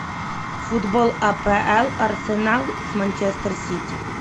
футбол апл арсенал с манчестер сити